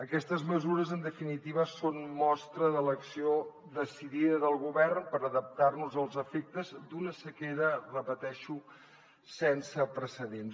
aquestes mesures en definitiva són mostra de l’acció decidida del govern per adaptar nos als efectes d’una sequera ho repeteixo sense precedents